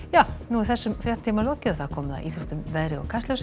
þessum fréttatíma er lokið og komið að íþróttum veðri og Kastljósi